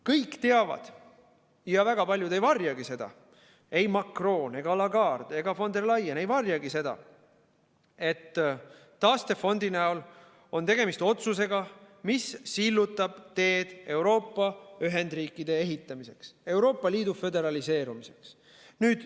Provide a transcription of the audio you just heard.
Kõik teavad ja väga paljud ei varjagi, ei Macron ega Lagarde ega von der Leyen ei varjagi seda, et taastefondi näol on tegemist otsusega, mis sillutab teed Euroopa ühendriikide ehitamiseks, Euroopa Liidu föderaliseerumiseks.